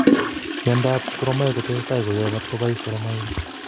Mionoo ab soromoak kotesetai koyae matkobais soromoak